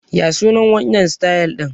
Ya sunan wannan sitayil ɗin?